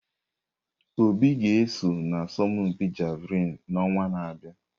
Obi ga-eso n'asọmpi Javelin n'ọnwa na-abịa.